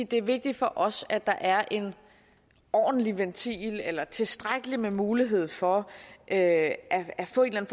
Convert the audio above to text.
det er vigtigt for os at der er en ordentlig ventil eller tilstrækkelig med mulighed for at at få en